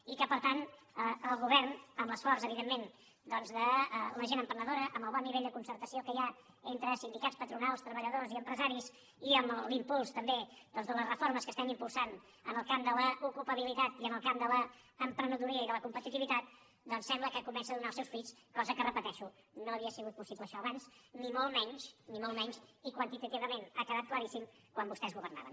i que per tant el govern amb l’esforç evidentment doncs de la gent emprenedora amb el bon nivell de concertació que hi ha entre sindicats patronals treballadors i empresaris i amb l’impuls també de les reformes que estem impulsant en el camp de l’ocupabilitat i en el camp de l’emprenedoria i de la competitivitat doncs sembla que comença a donar els seus fruits cosa que ho repeteixo no havia sigut possible això abans ni molt menys ni molt menys i quantitativament ha quedat claríssim quan vostès governaven